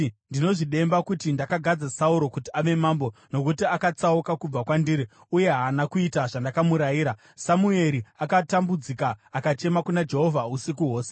“Ndinozvidemba kuti ndakagadza Sauro kuti ave mambo, nokuti akatsauka kubva kwandiri uye haana kuita zvandakamurayira.” Samueri akatambudzika, akachema kuna Jehovha usiku hwose.